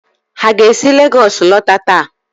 ha ga-esi Legọs lọta taa?